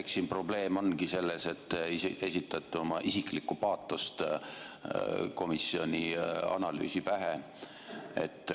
Eks siin probleem olegi selles, et te esitate oma isiklikku paatost komisjoni analüüsi pähe.